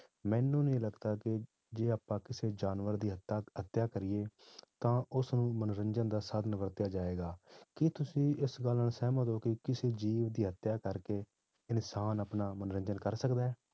ਮੈਨੂੰ ਨੀ ਲੱਗਦਾ ਕਿ ਜੇ ਆਪਾਂ ਕਿਸੇ ਜਾਨਵਰ ਦੀ ਹੱਤਾ ਹੱਤਿਆ ਕਰੀਏ ਤਾਂ ਉਸਨੂੰ ਮਨੋਰੰਜਨ ਦਾ ਸਾਧਨ ਵਰਤਿਆ ਜਾਏਗਾ, ਕੀ ਤੁਸੀਂ ਇਸ ਗੱਲ ਨਾਲ ਸਹਿਮਤ ਹੋ ਕਿ ਕਿਸੇ ਜੀਵ ਦੀ ਹੱਤਿਆ ਕਰਕੇ ਇਨਸਾਨ ਆਪਣਾ ਮਨੋਰੰਜਨ ਕਰ ਸਕਦਾ ਹੈ